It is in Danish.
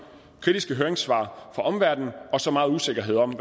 kritiske høringssvar fra omverdenen og have så meget usikkerhed om